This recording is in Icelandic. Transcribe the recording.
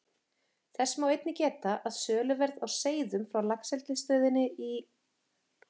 Þess má einnig geta, að söluverð á seiðum frá Laxeldisstöðinni í